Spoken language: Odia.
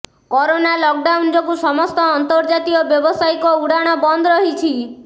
କରୋନା ଲକଡାଉନ୍ ଯୋଗୁ ସମସ୍ତ ଅନ୍ତର୍ଜାତୀୟ ବ୍ୟବସାୟିକ ଉଡ଼ାଣ ବନ୍ଦ ରହିଛି